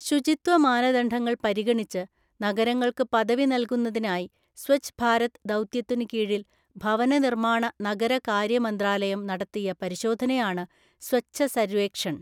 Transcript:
ശുചിത്വ മാനദണ്ഡങ്ങള്‍ പരിഗണിച്ച് നഗരങ്ങള്‍ക്കു പദവി നല്കുന്നതിനായിസ്വഛ് ഭാരത്ദൗത്യത്തിനു കീഴില്‍ ഭവന നിര്മ്മാണ നഗരകാര്യ മന്ത്രാലയും നടത്തിയ പരിശോധനയാണ് സ്വഛസര്വേക്ഷണ്‍.